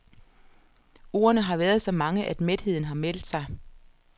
Ordene har været så mange, at mætheden har meldt sig.